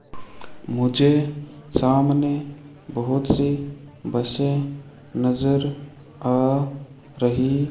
मुझे सामने बहोत सी बसे नजर आ रही --